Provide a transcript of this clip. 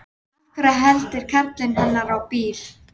Af hverju eltir karlinn hennar á bíl?